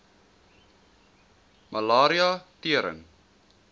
malaria tering